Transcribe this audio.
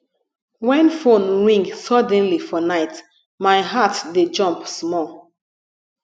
wen phone ring suddenly for night my heart dey jump small